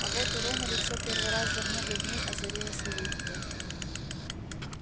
а вот у рона лицо первый раз за много дней озарилось улыбкой